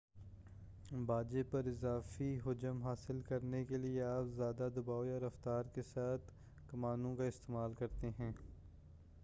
باجے پر اضافی حجم حاصل کرنے کے لئے آپ زیادہ دباؤ یا رفتار کے ساتھ کمانوں کا استعمال کرتے ہیں